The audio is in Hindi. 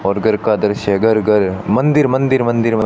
और घर का दृश्य घर घर मंदिर मंदिर मंदिर म--